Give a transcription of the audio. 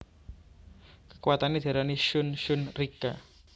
Kekuwatane diarani Shun Shun Rikka